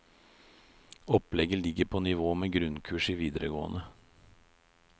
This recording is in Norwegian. Opplegget ligger på nivå med grunnkurs i videregående.